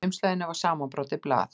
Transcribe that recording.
Í umslaginu var samanbrotið blað.